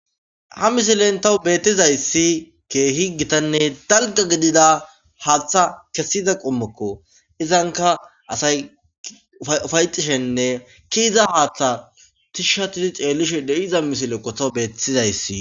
ha misilen tawu beettizayssi keehi gitanne dalga gidida haatha kessiza qommokko izanka asay ufayxishenne ki iza haaththa tishshatidi ceellishe de7iza misile qotow beettizayssi